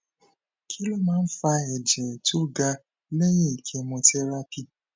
kí ló máa ń fa ẹjẹ tó ga lẹyìn chemotherapy